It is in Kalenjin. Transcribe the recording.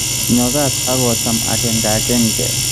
Nyo kaat ak ocham akekankenke